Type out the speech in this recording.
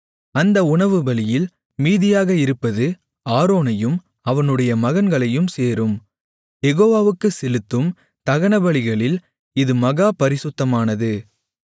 அந்த உணவுபலியில் மீதியாக இருப்பது ஆரோனையும் அவனுடைய மகன்களையும் சேரும் யெகோவாவுக்குச் செலுத்தும் தகனபலிகளில் இது மகா பரிசுத்தமானது